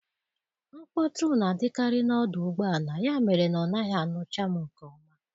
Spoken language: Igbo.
Nkpọtu na-adịkarị n'odụ ụgbọala, ya mere na ọ naghị anụcha m nke ọma.